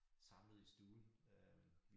Samlet i stuen øh